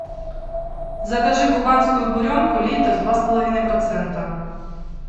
закажи кубанскую буренку литр два с половиной процента